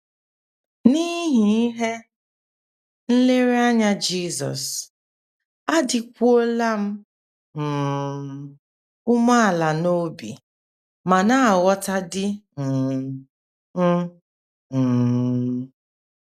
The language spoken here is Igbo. N’ihi ihe nlereanya Jizọs, adịkwuola m um umeala n’obi ma na - aghọta di um m um.